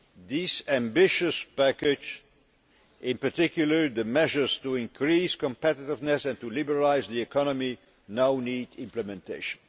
This ambitious package in particular the measures to increase competiveness and to liberalise the economy now needs implementation.